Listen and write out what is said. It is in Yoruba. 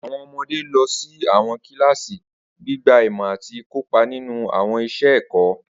Awọn ọmọde lọ si awọn kilasi, gbigba imọ ati kopa ninu awọn iṣẹ ẹkọ.